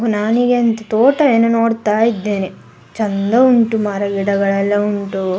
ನಾನಿಗೆನ್ ತೋಟ ಏನ್ ನೋಡತ್ತಾ ಇದ್ದೇನೆ ಚಂದ ಉಂಟು ಮರೆ ಗಿಡಗಳೆಲ್ಲಾ ಉಂಟು .